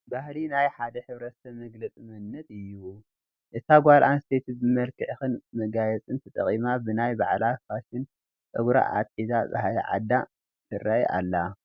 ባህሊ ናይ ሓደ ሕ/ሰብ መግለፂ መንነት እዩ፡፡ እታ ጓል ኣነስተይቲ ብመመላኽዕን መጋየፅን ተጠቒማ ብናይ ባዕላ ፋሽን ፀጉራ ኣትሒዛን ባህሊ ዓዳ ተርእይ ኣላ፡፡